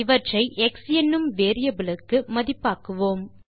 இவற்றை எக்ஸ் எனும் வேரியபிலுக்கு மதிப்பாக்குவோம்